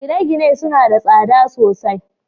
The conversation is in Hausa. gine-gine suna da tsada sosai